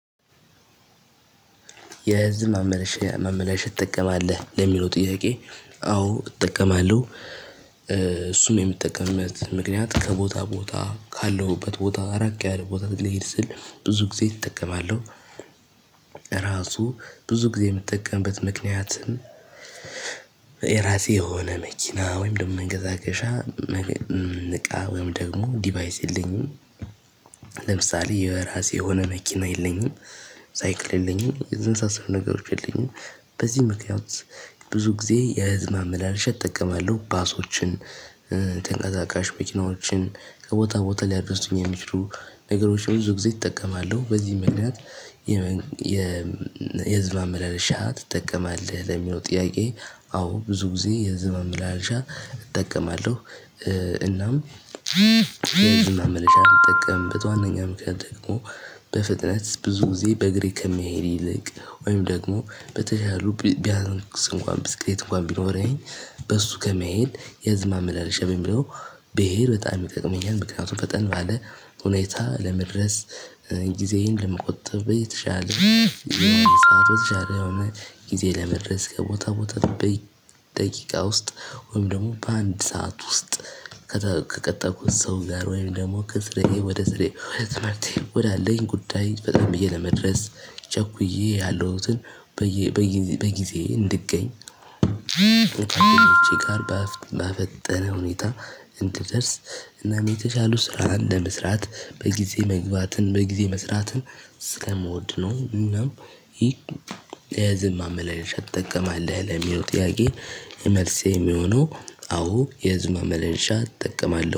የህዝብ ማመላለሻ ማመላለሻ ትጠቀማለህ? ለሚለው ጥያቄ አዎ እጠቀማለሁ። እሱን የምትጠቀምበት ምክንያት ከቦታ ቦታ ካለሁበት ቦታ ራቅ ያለ ቦታ ልሄድ ስል፤ ብዙ ጊዜ እጠቀማለሁ። ራሱ ብዙ ጊዜ የምትጠቀምበት ምክንያት የራሴ የሆነ መኪና ወይም ደግሞ መንቀሳቀሻ እቃ ወይም ደግሞ ዲቫይስ የለኝም። ለምሳሌ የራሴ የሆነ መኪና የለኝም፣ ሳይክል የለኝም፣ የመሳሰሉት ነገሮች የለኝም። በዚህ ምክንያት ብዙ ጊዜ የህዝብ ማመላለሻ እጠቀማለሁ። ባሶችን ተንቀሳቃሽ መኪናዎችን፣ ከቦታ ቦታ ሊያደርሱኝ የሚችሉ ነገሮች ብዙ ጊዜ እጠቀማለው። በዚህ ምክንያት የህዝብ ማመላለሻ ትጠቀማለህ ለሚለው? ጥያቄ አዎ ብዙ ጊዜ የህዝብ ማመላለሻ እጠቀማለሁ። እናም የህዝብ ማመላለሻ ምጠቀምበት ዋነኛው ምክንያት ደግሞ በፍጥነት ብዙ ጊዜ በእግሬ ከመሄድ ይልቅ ወይም ደግሞ በተቻለ ቢያንስ እንኳን ብስክሌት እንኳን ቢኖረኝ፤ በእሱ ከመሄድ፤ የህዝብ ማመላለሻ በሚለው ብሄድ በጣም ይጠቅመኛል፤ ምክንያቱም ፈጠን ባለ ሁኔታ ለመድረስ፤ ጊዜዬን ለመቆጠብ በየተሻለ ሰዓት በተሻለ የሆነ ጊዜ ለመድረስ፤ ከቦታ ቦታ በቤት ደቂቃ ውስጥ ወይም ደግሞ በአንድ ሰዓት ውስጥ ከቀጠርኩት ሰው ጋር ወይም ደግሞ ከስራዬ ወደ ስራዬ ወደ ትምህርቴ ወዳለኝ ጉዳይ ፈጠን ብዬ ለመድረስ ችኩዬ ያለሁትን፣ በጊዜዬ እንድገኝ፤ በጣም በፈጠነ ሁኔታ እንድትደርስ እና የተሻሉ ስራ እንደመስራት በጊዜ መግባትን በጊዜ መስራትን ስለምወድ ነው እና ይሄ የህዝብ ማመላለሻ ትጠቀማለህ? ለሚለው ጥያቄ መልሴ የሚሆነው አዎ የህዝብ ማመላለሻ እጠቀማለሁ።